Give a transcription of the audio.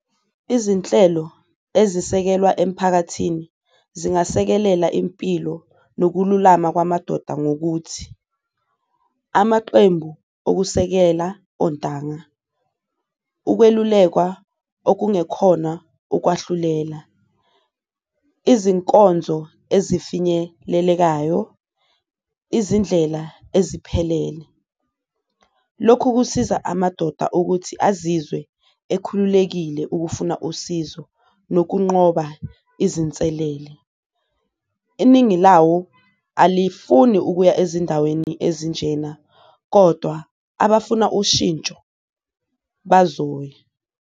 Izinhlelo ezisekelwa emphakathini zingasekelela impilo nokululama kwamadoda ngokuthi, amaqembu okusekela ontanga, ukwelulekwa okungekhona ukwahlulela, izinkonzo ezifinyelelekayo, izindlela eziphelele. Lokhu kusiza amadoda ukuthi azizwe ekhululekile ukufuna usizo nokunqoba izinselele, iningi lawo alifuni ukuya ezindaweni ezinjena kodwa abafuna ushintsho bazoya.